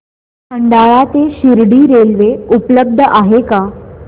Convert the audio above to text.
खंडाळा ते शिर्डी रेल्वे उपलब्ध आहे का